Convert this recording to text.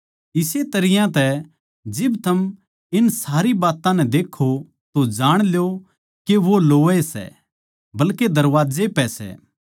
इस्से तरियां तै जिब थम इन सारी बात्तां नै देक्खो तो जाण ल्यो के वो लोवै सै बल्के दरबाजे पै सै